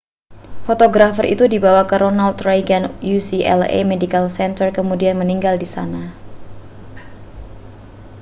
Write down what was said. fotografer itu dibawa ke ronald reagan ucla medical center kemudian meninggal di sana